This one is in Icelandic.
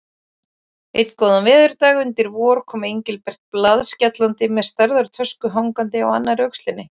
Einn góðan veðurdag undir vor kom Engilbert blaðskellandi með stærðar tösku hangandi á annarri öxlinni.